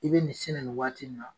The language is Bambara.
I bɛ min sin na nin waati na.